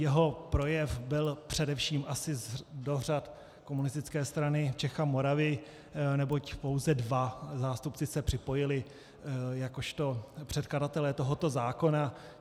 Jeho projev byl především asi do řad Komunistické strany Čech a Moravy, neboť pouze dva zástupci se připojili jakožto předkladatelé tohoto zákona.